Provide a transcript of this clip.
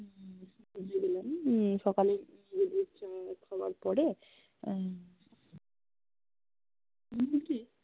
পুজো দিলাম হম সকালে চা খাবার পরে আহ